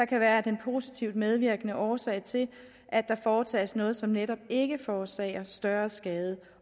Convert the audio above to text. kan være den positive medvirkende årsag til at der foretages noget som netop ikke forårsager større skade